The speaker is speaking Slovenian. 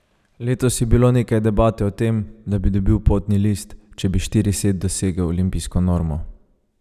Letos je bilo nekaj debate o tem, da bi dobil potni list, če bi štirised dosegel olimpijsko normo.